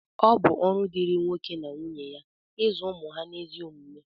ọ bụ ọrụ dịịrị nwoke na nwunye ya ịzụ ụmụ ha n’ezi omume